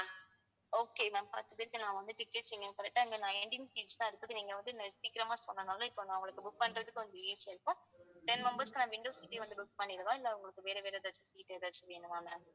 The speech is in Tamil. okay ma'am நான் வந்து tickets book பண்ணனும் correct ஆ இங்க nineteen seats தான் இருக்குது நீங்க வந்து சீக்கிரமா சொன்னதுனால இப்ப நான் உங்களுக்கு book பண்றதுக்கு கொஞ்சம் easy ஆ இருக்கும் ten members க்கான window seat ஏ வந்து book பண்ணிடவா இல்ல உங்களுக்கு வேற வேற ஏதாச்சும் seat ஏதாச்சும் வேணுமா ma'am